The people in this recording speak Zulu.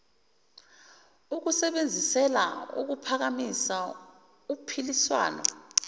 ukusebenzisela ukuphakamisa uphiliswano